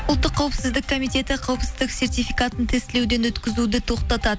ұлттық қауіпсіздік комитеті қауіпсіздік сертификатын тестілеуден өткізуді тоқтатады